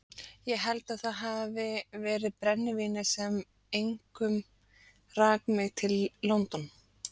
Ég held að það hafi verið brennivínið sem einkum rak mig til London.